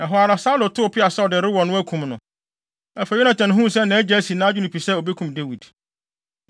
Ɛhɔ ara, Saulo tow peaw sɛ ɔde rewɔ no, akum no. Afei Yonatan huu sɛ nʼagya asi nʼadwene pi sɛ obekum Dawid.